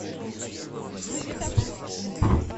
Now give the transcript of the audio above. джой поставь кинг